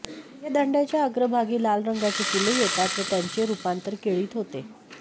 या दांडय़ाच्या अग्रभागी लाल रंगाची फुले येतात व त्यांचे रूपांतर केळीत होते